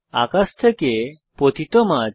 আকাশ থেকে পতিত মাছ